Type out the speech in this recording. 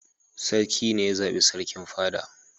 Sarki ne ya zaɓi sarkin fada.